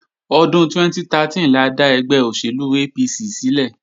Ọdún 2013 la dá ẹgbẹ́ òṣèlú APC sílẹ̀